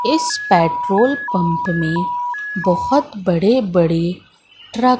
इस petrol pump में बहोत बड़े बड़े ट्रक --